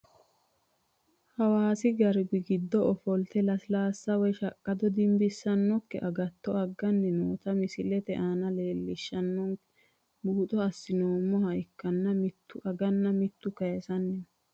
Hawaasi garbi giddo ofolte lasilaasa woyi shaqaddo dinbisanoki agatto agani noota misilete aana leelishenanke buuxo asinoomoha ikanna mitttu aganna kayisayino.